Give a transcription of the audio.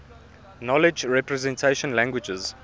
knowledge representation languages